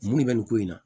Mun de bɛ nin ko in na